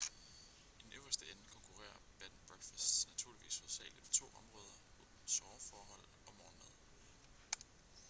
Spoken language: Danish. i den øverste ende konkurrerer bed & breakfasts naturligvis hovedsageligt på to områder soveforhold og morgenmad